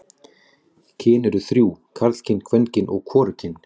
Kyn eru þrjú: karlkyn, kvenkyn og hvorugkyn.